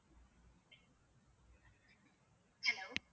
hello